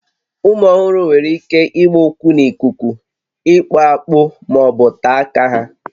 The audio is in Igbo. Ụmụ ọhụrụ nwere ike ịgba ụkwụ n'ikuku, ịkpụ akpụ ma ọ bụ taa aka ha